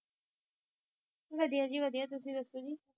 ਵਧਿਆ ਜੀ ਵਧਿਆ, ਤੁਸੀਂ ਦਸੋ ਜੀ